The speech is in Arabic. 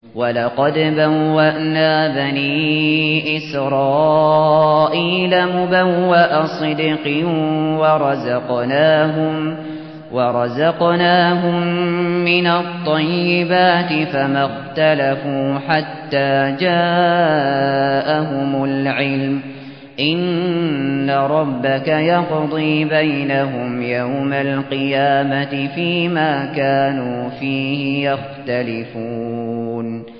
وَلَقَدْ بَوَّأْنَا بَنِي إِسْرَائِيلَ مُبَوَّأَ صِدْقٍ وَرَزَقْنَاهُم مِّنَ الطَّيِّبَاتِ فَمَا اخْتَلَفُوا حَتَّىٰ جَاءَهُمُ الْعِلْمُ ۚ إِنَّ رَبَّكَ يَقْضِي بَيْنَهُمْ يَوْمَ الْقِيَامَةِ فِيمَا كَانُوا فِيهِ يَخْتَلِفُونَ